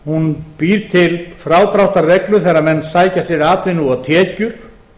hún býr til frádráttarreglur þegar menn sækja sér atvinnu og tekjur